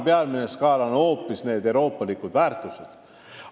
Peamine on hoopis euroopalike väärtuste skaala.